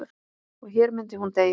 Og hér myndi hún deyja.